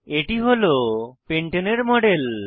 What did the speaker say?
এটি হল পেন্টানে পেন্টেন এর মডেল